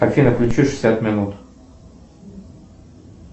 афина включи шестьдесят минут